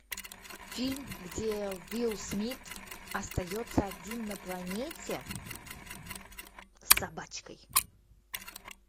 фильм где уилл смит остается один на планете с собачкой